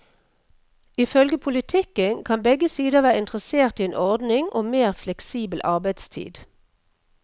I følge politikken kan begge sider være interessert i en ordning om mer fleksibel arbeidstid.